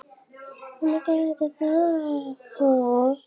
Þetta verður allt í lagi, sagði Emil.